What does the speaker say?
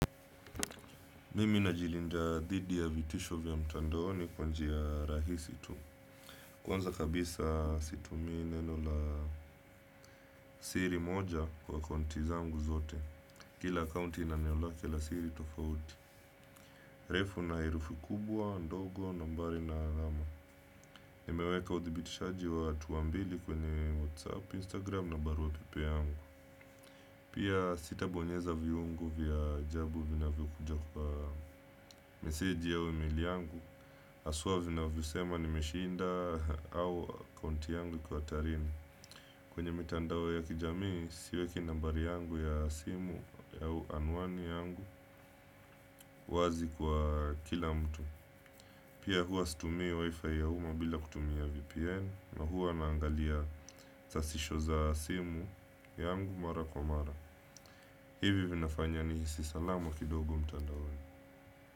Mimi najilinda dhidi ya vitisho vya mtandaoni kwa njia rahisi tu. Kwanza kabisa situmii neno la siri moja kwa akaunti zangu zote. Kila akaunti ina neno lake la siri tofauti. Refu na herufi kubwa, ndogo, nambari na alama. Nimeweka uthibitishaji wa hatua mbili kwenye Whatsapp, Instagram na barua pepe yangu. Pia sitabonyeza viungo vya ajabu vinavyokuja kwa meseji au emaili yangu. Haswa vinavyosema nimeshinda au akaunti yangu iko hatarini. Kwenye mitandao ya kijamii siweki nambari yangu ya simu au anwani yangu wazi kwa kila mtu. Pia huwa situmii wifi ya umma bila kutumia VPN. Na huwa naangalia sasisho za simu yangu mara kwa mara. Hivi vinafanya nihisi salama kidogo mtandaoni.